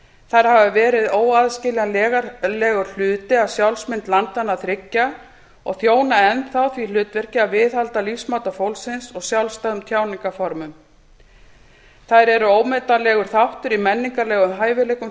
þær hafa verið óaðskiljanlegur hluti af sjálfsmynd landanna þriggja og þjóna enn því hlutverki að viðhalda lífsmáta fólksins og sjálfstæðum tjáningarformum þær eru ómetanlegur þáttur í menningarlegum hæfileikum